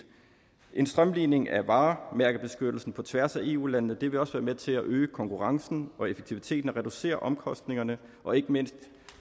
en strømlining af varemærkebeskyttelsen på tværs af eu landene vil også være med til at øge konkurrencen og effektiviteten og at reducere omkostningerne og ikke mindst